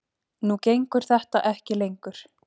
Nú gengur þetta ekki lengur